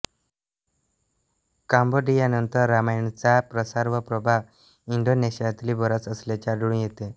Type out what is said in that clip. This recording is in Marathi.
कांबोडियानंतर रामायणाचा प्रचार व प्रभाव इंडोनेशियातही बराच असल्याचे आढळून येते